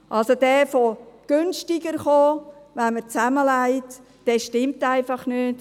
Dass es also günstiger komme, wenn man zusammenlegt, stimmt einfach nicht.